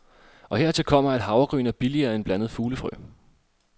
Og hertil kommer, at havregryn er billigere end blandet fuglefrø.